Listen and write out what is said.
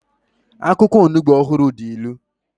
akwukwo Onugbo ohuru di ilu